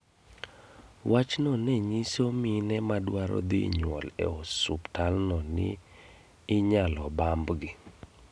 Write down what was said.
Wachno nenyiso mine madwaro dhi nyuol e osuptal no ni inyalo bambgi